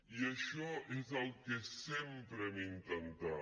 i això és el que sempre hem intentat